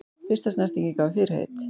Fyrsta snertingin gaf fyrirheit